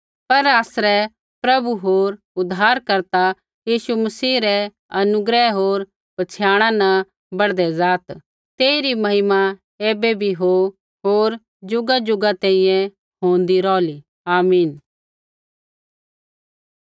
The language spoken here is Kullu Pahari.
पर आसरै प्रभु होर उद्धारकर्ता यीशु मसीह रै अनुग्रह होर पछ़ियाणा न बढ़दै ज़ात् तेही री महिमा ऐबै भी हो होर ज़ुगाजुगा तैंईंयैं होंदी रौहै आमीन